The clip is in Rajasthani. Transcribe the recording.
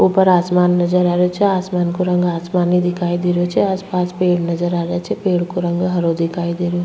ऊपर आसमान नजर आ रो छे आसमान को रंग आसमानी दिखाई दे रही छे आस पास पेड़ नजर आ रही छे पेड़ को रंग हरो दिखाई दे --